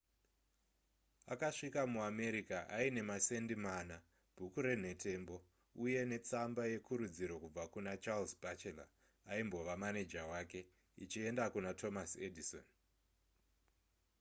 akasvika muamerica aine masendi mana bhuku renhetembo uye netsamba yekurudziro yakabva kuna charles batchelor aimbova maneja wake ichienda kuna thomas edison